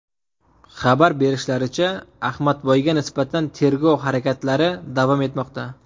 Xabar berishlaricha, Ahmadboyga nisbatan tergov harakatlari davom etmoqda .